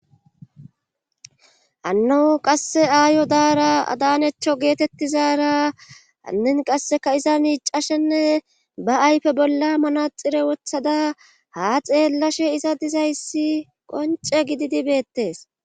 Anno qasse aayo daara adanecho geetettizara anin qasseka iza miicashenne ba ayfe bolla manaxire wothada ha xeellashe iza dizayssi qonce gididibeettes